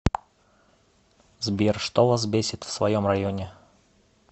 сбер что вас бесит в своем районе